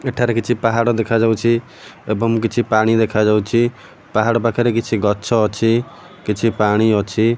ଏଠାରେ କିଛି ପାହାଡ ଦେଖାଯାଉଛି ଏବଂ କିଛି ପାଣି ଦେଖାଯାଉଛି ପାହାଡ ପାଖରେ କିଛି ଗଛ ଅଛି କିଛି ପାଣି ଅଛି।